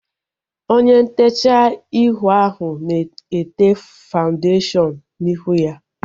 Onye ntechaa ihu ahu na-ete fawundeshion n'ihu ya